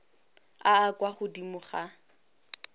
a a kwa godimo a